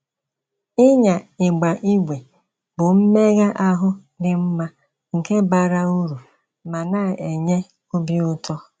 Ịnya ígba ígwè bụ mmégha ahụ́ dị mma nke bara uru ma na - enye obi útọ́.